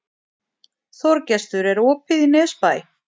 Þorgestur, er opið í Nesbæ?